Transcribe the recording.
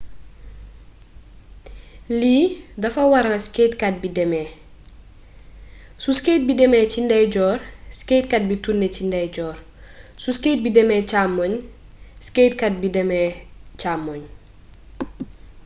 lii dafa waral skatekat bi demee su skate bi demee ci ndeyjoor skatekat bi turne ci ndeeyjoor su skate bi demee càmmoñ skatekat bi dem càmmoñ